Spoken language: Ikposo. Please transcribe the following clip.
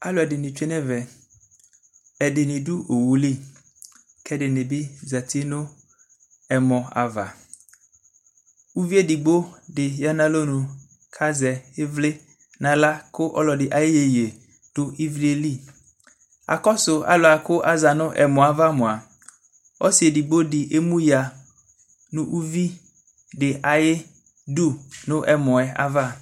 Alʋ ɛdini tsue nɛvɛ Ɛdini dʋ owu li kʋ ɛdini bi zati nʋ ɛmɔ ava Uvi edigbo di ya nʋ alɔnu kʋ azɛ ivli n'aɣla kʋ ɔlɔdi ayu iyeye dʋ ivli yɛ li Akɔsʋ alʋwa kʋ aza nʋ ɛmɔ yɛ ava moa, ɔsi edigbo di emuya nʋ uvi di ayidu nʋ ɛmɔ yɛ ava